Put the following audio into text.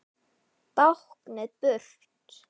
Báknið burt?